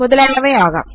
മുതലായവ ആകാം